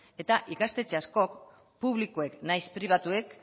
eta ikastetxe askok publikoek nahiz pribatuek